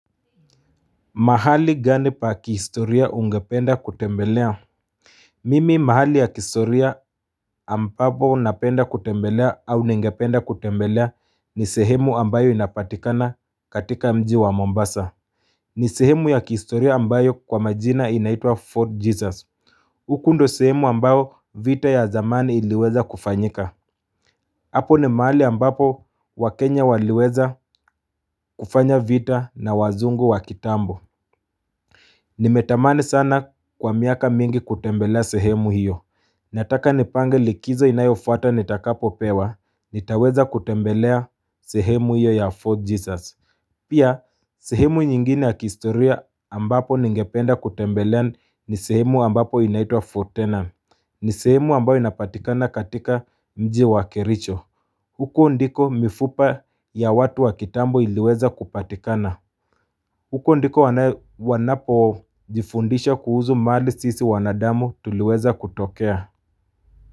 Mahali gani pa kihistoria ungependa kutembelea? Mimi mahali ya kihistoria ambapo napenda kutembelea au ningependa kutembelea ni sehemu ambayo inapatikana katika mji wa Mombasa ni sehemu ya kihistoria ambayo kwa majina inaitwa Fort Jesus huku ndio sehemu ambayo vita ya zamani iliweza kufanyika Apo ni mahali ambapo waKenya waliweza kufanya vita na wazungu wa kitambo Nimetamani sana kwa miaka mingi kutembelea sehemu hiyo Nataka nipange likizo inayofuata nitakapo pewa nitaweza kutembelea sehemu hiyo ya FortJesus Pia sehemu nyingine ya kistoria ambapo ningependa kutembelea ni sehemu ambapo inaitwa For Tenor ni sehemu ambayo inapatikana katika mji wa kericho huko ndiko mifupa ya watu wa kitambo iliweza kupatikana huko ndiko wanapo jifundisha kuhusu mahali sisi wanadamu tuliweza kutokea.